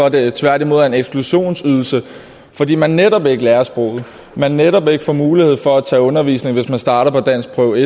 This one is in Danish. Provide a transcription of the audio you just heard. at det tværtimod er en eksklusionsydelse fordi man netop ikke lærer sproget man netop ikke får mulighed for at tage undervisning hvis man starter på danskprøve